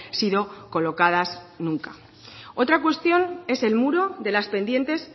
sido colocadas nunca otra cuestión es el muro de las pendientes